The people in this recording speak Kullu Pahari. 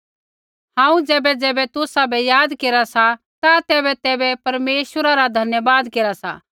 हांऊँ ज़ैबैज़ैबै तुसाबै याद केरा सा ता तैबैतैबै परमेश्वरा रा धन्यवाद केरा सा